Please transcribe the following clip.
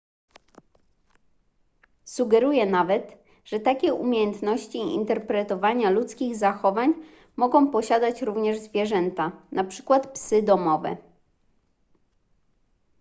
sugeruje nawet że takie umiejętności interpretowania ludzkich zachowań mogą posiadać również zwierzęta np psy domowe